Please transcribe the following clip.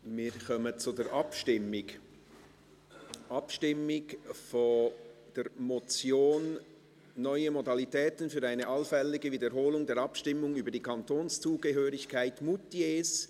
Wir kommen zur Abstimmung über die Motion «Neue Modalitäten für eine allfällige Wiederholung der Abstimmung über die Kantonszugehörigkeit Moutiers».